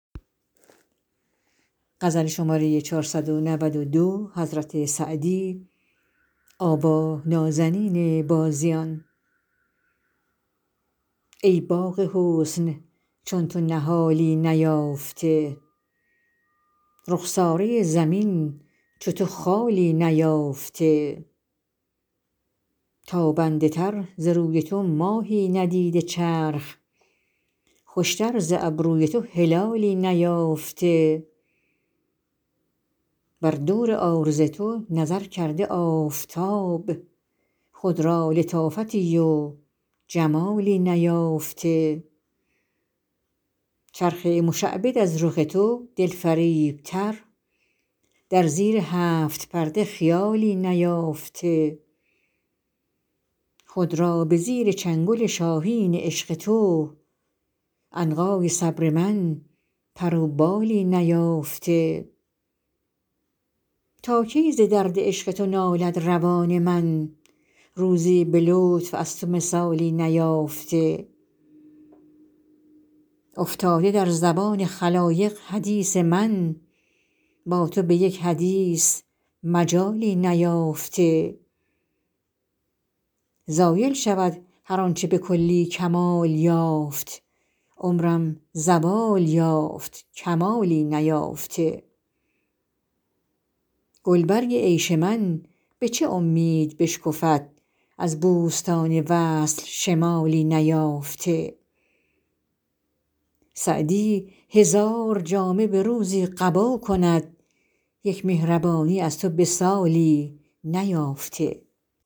ای باغ حسن چون تو نهالی نیافته رخساره زمین چو تو خالی نیافته تابنده تر ز روی تو ماهی ندیده چرخ خوشتر ز ابروی تو هلالی نیافته بر دور عارض تو نظر کرده آفتاب خود را لطافتی و جمالی نیافته چرخ مشعبد از رخ تو دلفریبتر در زیر هفت پرده خیالی نیافته خود را به زیر چنگل شاهین عشق تو عنقای صبر من پر و بالی نیافته تا کی ز درد عشق تو نالد روان من روزی به لطف از تو مثالی نیافته افتاده در زبان خلایق حدیث من با تو به یک حدیث مجالی نیافته زایل شود هر آن چه به کلی کمال یافت عمرم زوال یافت کمالی نیافته گلبرگ عیش من به چه امید بشکفد از بوستان وصل شمالی نیافته سعدی هزار جامه به روزی قبا کند یک مهربانی از تو به سالی نیافته